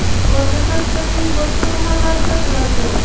Hozirda Xitoyning boshqa shaharlarda bular yo‘q.